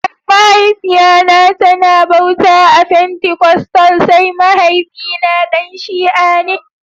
Mahaifiya na ta na bauta a fentikostal sai mahaifi na Dan shia ne